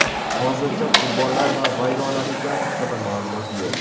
Hozircha qurbonlar va vayronaliklar haqida ma’lumot yo‘q.